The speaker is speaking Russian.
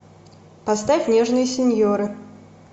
поставь нежные синьоры